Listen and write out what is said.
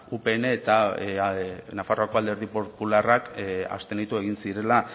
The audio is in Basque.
upn eta nafarrako alderdi popularrak abstenitu egin zirela